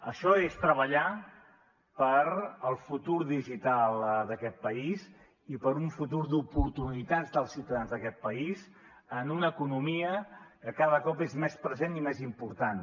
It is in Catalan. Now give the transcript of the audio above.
això és treballar pel futur digital d’aquest país i per un futur d’oportunitats dels ciutadans d’aquest país en una economia que cada cop és més present i més important